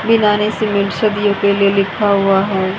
ये गाने भी अकेले लिखा हुआ है।